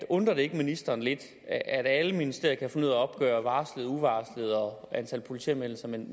undrer det ikke ministeren lidt at alle ministerier kan finde ud opgøre varslede og uvarslede besøg og antal politianmeldelser men